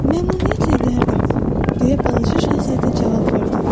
Məmnuniyyətlə edərdim, deyə Balaca Şahzadə cavab verdi.